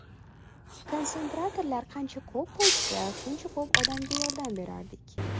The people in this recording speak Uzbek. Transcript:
Konsentratorlar qancha ko‘p bo‘lsa, shuncha ko‘p odamga yordam berardik.